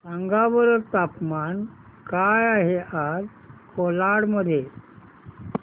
सांगा बरं तापमान काय आहे आज कोलाड मध्ये